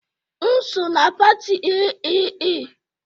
M so na pati AAA